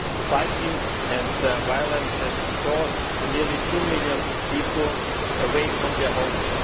Fighting and violence have forced nearly two million people away from their homes.